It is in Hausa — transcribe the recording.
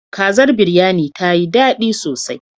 Kazar Biryanin ta yi daɗi sosai.